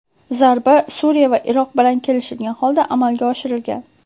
Zarba Suriya va Iroq bilan kelishilgan holda amalga oshirilgan.